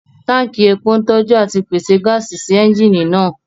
Tánkì epo ń tọ́jú àti pèsè gáàsì sí ẹ́ńjìnì náà